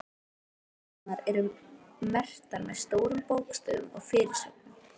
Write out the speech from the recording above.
Eyðurnar eru merktar með stórum bókstöfum og fyrirsögnum.